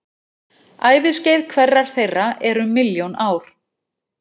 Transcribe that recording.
Æviskeið hverrar þeirra er um milljón ár.